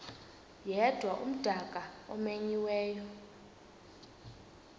yedwa umdaka omenyiweyo